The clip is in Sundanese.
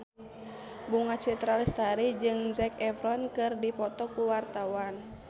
Bunga Citra Lestari jeung Zac Efron keur dipoto ku wartawan